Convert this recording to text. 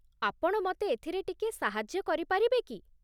ଆପଣ ମତେ ଏଥିରେ ଟିକିଏ ସାହାଯ୍ୟ କରିପାରିବେ କି?